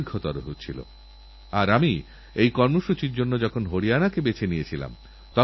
আপনারা দূরদর্শনে নিশ্চয়ইবিজ্ঞাপন দেখেন তবুও কখনও কখনও আমরা তা কাজে লাগানোর ক্ষেত্রে উদাসীন হয়ে পড়ি